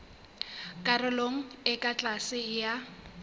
karolong e ka tlase ya